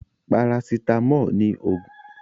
Parasitamọ́ọ̀ ní òògùn tí àwọn ènìyàn mo jùlọ.